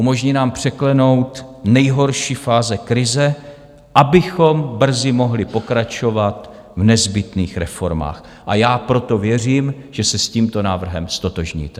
Umožní nám překlenout nejhorší fáze krize, abychom brzy mohli pokračovat v nezbytných reformách, a já proto věřím, že se s tímto návrhem ztotožníte.